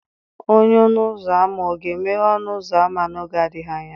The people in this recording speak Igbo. Onye ọnụ ụzọ ámá ọ ga-emeghe ọnụ ụzọ ámá n'oge adịghị anya?